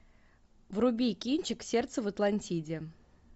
вруби кинчик сердце в атлантиде